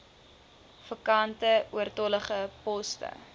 vakante oortollige poste